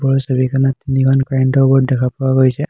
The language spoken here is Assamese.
ওপৰৰ ছবিখনত তিনিখন কাৰেণ্ট ৰ বৰ্ড দেখা পোৱা গৈছে।